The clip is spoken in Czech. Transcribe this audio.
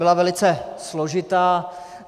Byla velice složitá.